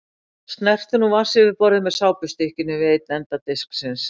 Snertu nú vatnsyfirborðið með sápustykkinu við einn enda disksins.